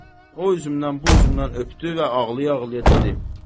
O üzümdən bu üzümdən öpdü və ağlaya-ağlaya dedi: